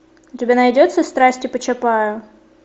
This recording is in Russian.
у тебя найдется страсти по чапаю